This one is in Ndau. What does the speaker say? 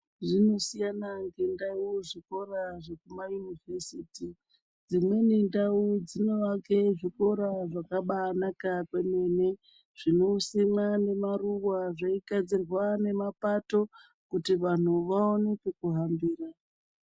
Zvinosiyana nendau zvikora zvekumaunivhesiti dzimweni ndau dzinovake zvikora zvakabanaka kwemene. Zvinosimwa nemaruva zveigadzirwa nemapato kuti vantu vaone kukuhambira.